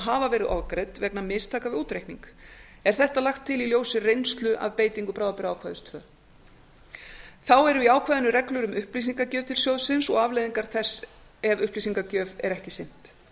hafa verið ofgreidd vegna mistaka við útreikning er þetta lagt til í ljósi reynslu af beitingu bráðabirgðaákvæðis annars þá eru í ákvæðinu reglur um upplýsingagjöf til sjóðsins og afleiðingar þess ef upplýsingagjöf er ekki sinnt